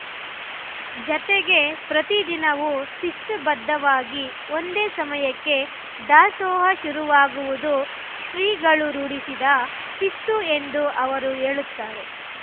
ಜತೆಗೆ ಪ್ರತಿ ದಿನವೂ ಶಿಸ್ತುಬದ್ಧವಾಗಿ ಒಂದೇ ಸಮಯಕ್ಕೆ ದಾಸೋಹ ಶುರುವಾಗುವುದು ಶ್ರೀಗಳು ರೂಢಿಸಿದ ಶಿಸ್ತು ಎಂದು ಅವರು ಹೇಳುತ್ತಾರೆ